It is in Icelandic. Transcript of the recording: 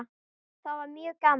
Það væri mjög gaman.